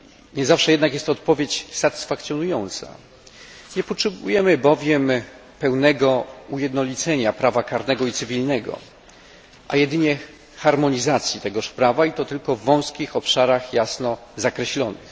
Nie zawsze jednak jest to odpowiedź satysfakcjonująca. Nie potrzebujemy bowiem pełnego ujednolicenia prawa karnego i cywilnego, a jedynie harmonizacji tegoż prawa i to tylko w wąskich obszarach jasno zakreślonych.